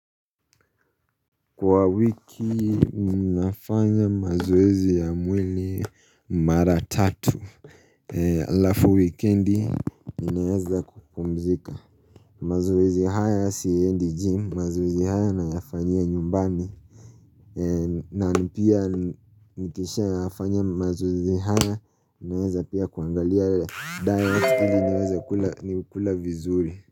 Kwa wiki ninafanya mazoezi ya mwili mara tatu alafu wikendi ninaweza kupumzika mazoezi haya siendi jim mazoezi haya nayafanyia nyumbani na pia nikishayafanya mazoezi haya naweza pia kuangalia Dayati ili niweze kula vizuri.